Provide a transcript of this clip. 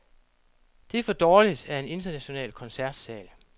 Det er for dårligt af en international koncertsal.